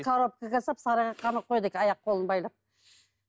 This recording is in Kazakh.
коробкаға салып сарайға қамап қояды екен аяқ қолын байлап